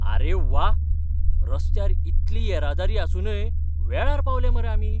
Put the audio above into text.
आरे व्वा, रस्त्यार इतली येरादारी आसूनय वेळार पावले मरे आमी!